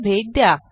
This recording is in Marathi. ला भेट द्या